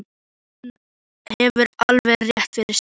Hún hefur alveg rétt fyrir sér.